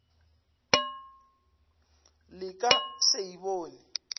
le ka se e bone